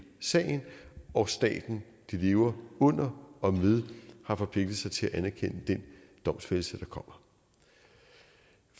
sagen og staten de lever under og med har forpligtet sig til at anerkende den domfældelse der kommer